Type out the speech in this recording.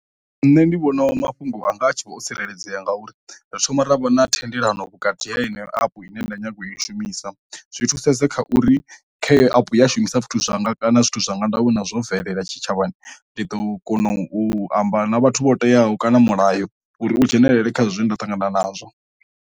Nṋe ndi vhona mafhungo anga a tshi vho tsireledzea ngauri ri thoma havha na thendelano vhukati ha ine app ine nda nyaga u i shumisa, zwi thusedza kha uri kha app ya shumisa zwithu zwanga kana zwithu zwanga nda we na zwo bvelela tshitshavhani ndi ḓo kona u amba na vhathu vho teaho kana mulayo uri u dzhenelele kha zwe nda ṱangana nazwo.